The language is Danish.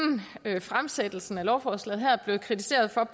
fremsættelsen af lovforslaget her er blevet kritiseret for